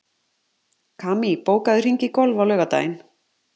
Kamí, bókaðu hring í golf á laugardaginn.